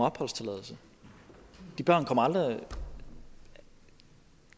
opholdstilladelse de børn kommer aldrig